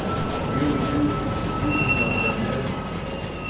делай делай девочка пусть меня охраняет